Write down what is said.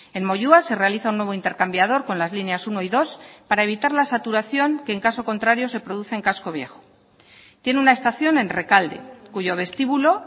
en moyua se realiza un nuevo intercambiador con las líneas uno y dos para evitar la saturación que en caso contrario se produce en casco viejo tiene una estación en rekalde cuyo vestíbulo